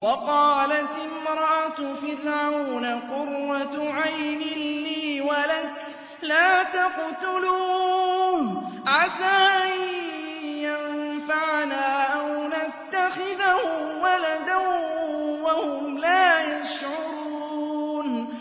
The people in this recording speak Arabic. وَقَالَتِ امْرَأَتُ فِرْعَوْنَ قُرَّتُ عَيْنٍ لِّي وَلَكَ ۖ لَا تَقْتُلُوهُ عَسَىٰ أَن يَنفَعَنَا أَوْ نَتَّخِذَهُ وَلَدًا وَهُمْ لَا يَشْعُرُونَ